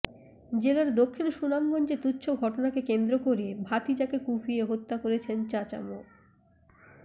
জেলার দক্ষিণ সুনামগঞ্জে তুচ্ছ ঘটনাকে কেন্দ্র করে ভাতিজাকে কুপিয়ে হত্যা করেছেন চাচা মো